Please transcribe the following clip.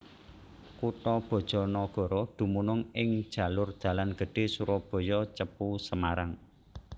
Kutha BajaNagara dumunung ing jalur dalan gedhé Surabaya Cepu Semarang